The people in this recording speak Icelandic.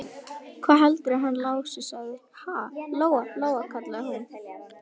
Hvað heldurðu að hann Lási segði, ha, Lóa-Lóa, kallaði hún.